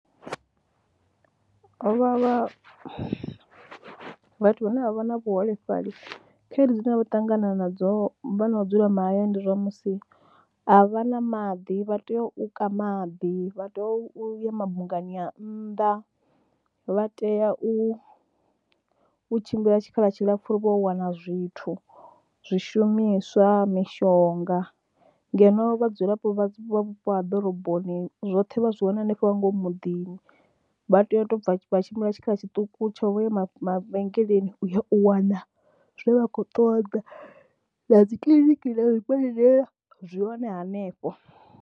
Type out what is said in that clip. Havha vhathu vhane vha vha na vhuholefhali khaedu dzine vha ṱangana nadzo vho no dzula mahayani ndi zwa musi, a vha na maḓi vha tea u ka maḓi vha teyo u ya mabungani a nnḓa, vha tea u tshimbila tshikhala tshilapfhu uri vho yo wana zwithu zwishumiswa, mishonga. Ngeno vhadzulapo vha vhupo ha ḓoroboni zwoṱhe vha zwi wana hanefho nga ngomu muḓini, vha tea u tou bva vha tshimbila tshikhala tshiṱuku tsho u ya mavhengeleni u yo u wana zwe vha khou ṱoḓa na dzi kiḽiniki na zwibadela zwi hone hanefho.